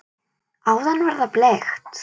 Áðan var það bleikt.